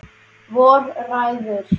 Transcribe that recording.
Hvor ræður?